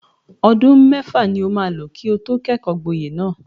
Ọdún mẹ́fà ni o maa lò kí o tó kẹ́kọ̀ọ́-gboyè náà.